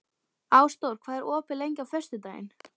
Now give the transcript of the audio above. Ásdór, hvað er opið lengi á föstudaginn?